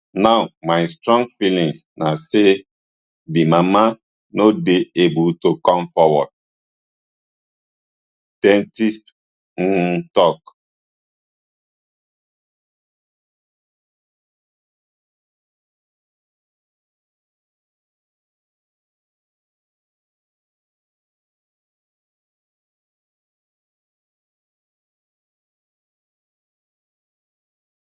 now my strong feeling na say di mama no dey able to come forward det insp humm tok